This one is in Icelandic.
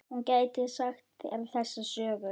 Hún gæti sagt þér þessa sögu.